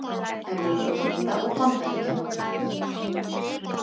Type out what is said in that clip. Evrópulanda og Bandaríkjanna.